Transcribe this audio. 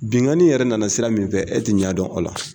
Bingani yɛrɛ nana sira min fɛ e ti ɲɛ dɔn a la